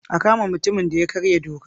A kama mutumin da ya karya doka!